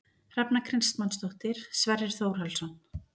Hrefna Kristmannsdóttir, Sverrir Þórhallsson